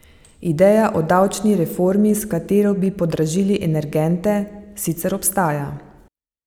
Ideja o davčni reformi, s katero bi podražili energente, sicer ostaja.